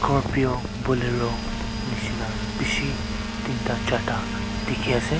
scorpio bolero neshina beshi tinta charta dekhey ase.